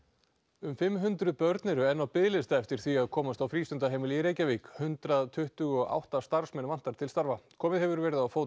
um fimm hundruð börn eru enn á biðlista eftir því að komast á frístundaheimili í Reykjavík hundrað tuttugu og átta starfsmenn vantar til starfa komið hefur verið á fót